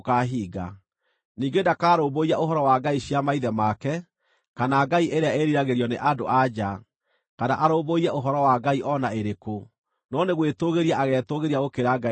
Ningĩ ndakarũmbũiya ũhoro wa ngai cia maithe make, kana ngai ĩrĩa ĩĩriragĩrio nĩ andũ-a-nja, kana arũmbũiye ũhoro wa ngai o na ĩrĩkũ, no nĩ gwĩtũũgĩria ageetũũgĩria gũkĩra ngai icio ciothe.